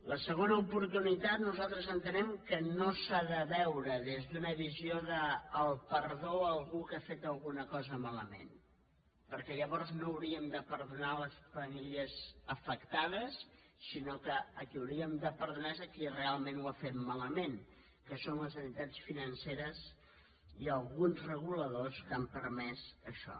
la segona oportunitat nosaltres entenem que no s’ha de veure des d’una visió del perdó a algú que ha fet una cosa malament perquè llavors no hauríem de perdonar les famílies afectades sinó que qui hauríem de perdonar és qui realment ho ha fet malament que són les entitats financeres i alguns reguladors que han permès això